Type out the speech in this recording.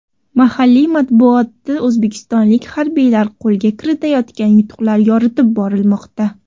Mahalliy matbuotda o‘zbekistonlik harbiylar qo‘lga kiritayotgan yutuqlar yoritib borilmoqda.